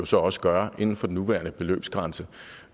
så også gøre inden for den nuværende beløbsgrænse